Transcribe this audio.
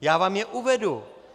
Já vám je uvedu.